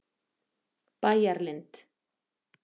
Bæjarlind